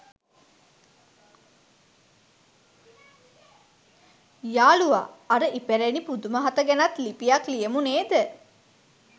යාළුවා අර ඉපැරණි පුදුම හත ගැනත් ලිපියක් ලියමු නේද?